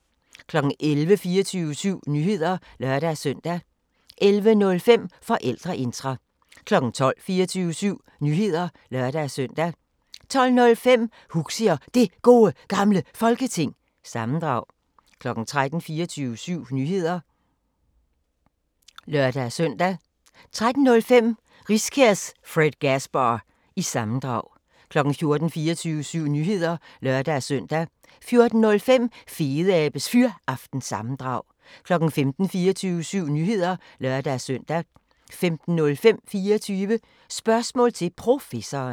11:00: 24syv Nyheder (lør-søn) 11:05: Forældreintra 12:00: 24syv Nyheder (lør-søn) 12:05: Huxi og Det Gode Gamle Folketing – sammendrag 13:00: 24syv Nyheder (lør-søn) 13:05: Riskærs Fredgasbar- sammendrag 14:00: 24syv Nyheder (lør-søn) 14:05: Fedeabes Fyraften – sammendrag 15:00: 24syv Nyheder (lør-søn) 15:05: 24 Spørgsmål til Professoren